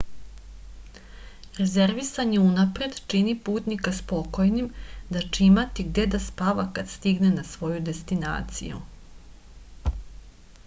rezervisanje unapred čini putnika spokojnim da će imati gde da spava kad stigne na svoju destinaciju